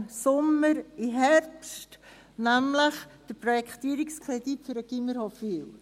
der BaK. Er wurde vom Sommer in den Herbst verschoben, nämlich der Projektierungskredit für das Gymnasium Hofwil.